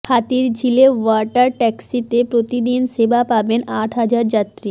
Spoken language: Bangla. হাতিরঝিলে ওয়াটার ট্যাক্সিতে প্রতিদিন সেবা পাবেন আট হাজার যাত্রী